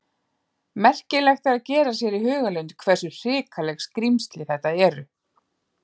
Merkilegt er að gera sér í hugarlund hversu hrikaleg skrímsli þetta eru.